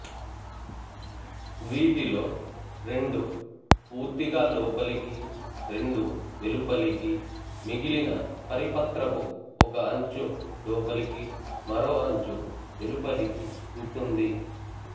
వీటిలో రెండు పూర్తిగా లోపలికి రెండు వెలుపలికి మిగిలిన పరిపత్రపు ఒక అంచు లోపలికి మరో అంచు వెలుపలికి ఉంటుంది